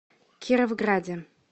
кировграде